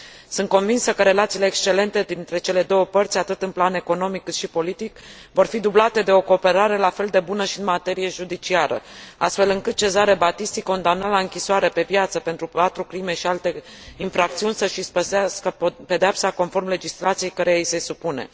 Sunt convinsă că relațiile excelente dintre cele două părți atât în plan economic, cât și politic, vor fi dublate de o cooperare la fel de bună și în materie judiciară, astfel încât Cesare Battisti, condamnat la închisoare pe viață pentru patru crime și alte infracțiuni, să își ispășească pedeapsa conform legislației căreia i se supune.